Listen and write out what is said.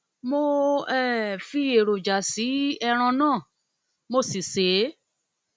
mo um fi èròjà èròjà sí ẹran náà mo si sè é